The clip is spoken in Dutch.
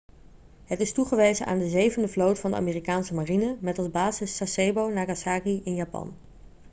het is toegewezen aan de zevende vloot van de amerikaanse marine met als basis sasebo nagasaki in japan